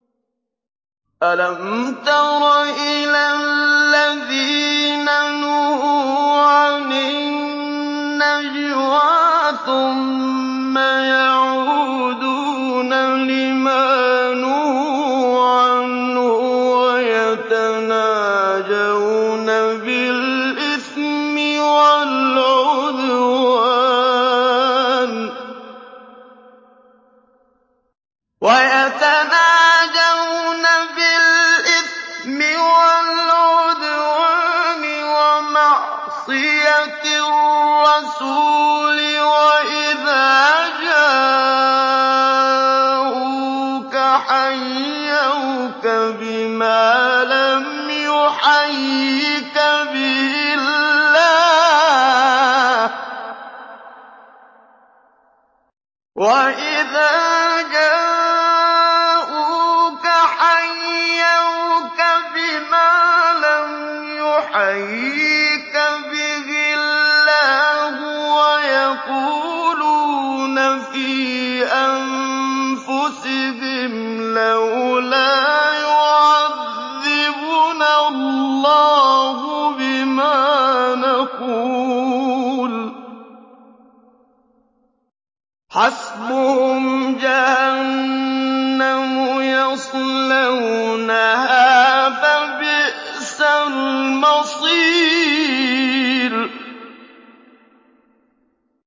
أَلَمْ تَرَ إِلَى الَّذِينَ نُهُوا عَنِ النَّجْوَىٰ ثُمَّ يَعُودُونَ لِمَا نُهُوا عَنْهُ وَيَتَنَاجَوْنَ بِالْإِثْمِ وَالْعُدْوَانِ وَمَعْصِيَتِ الرَّسُولِ وَإِذَا جَاءُوكَ حَيَّوْكَ بِمَا لَمْ يُحَيِّكَ بِهِ اللَّهُ وَيَقُولُونَ فِي أَنفُسِهِمْ لَوْلَا يُعَذِّبُنَا اللَّهُ بِمَا نَقُولُ ۚ حَسْبُهُمْ جَهَنَّمُ يَصْلَوْنَهَا ۖ فَبِئْسَ الْمَصِيرُ